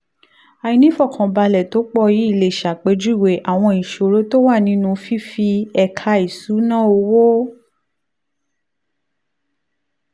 àìní ìfọ̀kànbalẹ̀ tó pọ̀ yìí lè ṣàpèjúwe àwọn ìṣòro tó wà nínú fífi ẹ̀ka ìṣúnná owó